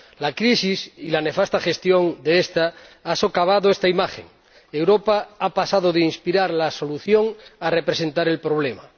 La crisis y la nefasta gestión de esta han socavado esta imagen Europa ha pasado de inspirar la solución a representar el problema.